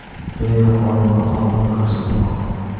Leo qoyilmaqom o‘yin ko‘rsatmoqda.